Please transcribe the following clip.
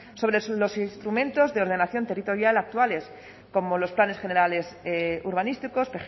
sobre los instrumentos de ordenación territorial actuales como los planes generales urbanísticos